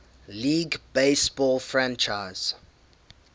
league baseball franchise